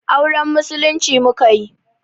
Auren musulunci mukayi